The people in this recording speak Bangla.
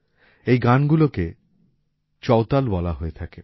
এই গানগুলোকে চওতাল বলা হয়ে থাকে